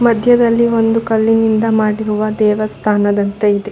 ಮಧ್ಯದಲ್ಲಿ ಒಂದು ಕಲ್ಲಿನಿಂದ ಮಾಡಿರುವ ದೇವಸ್ತಾನದಂತೆ ಇದೆ.